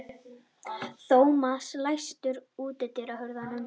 Thomas, læstu útidyrunum.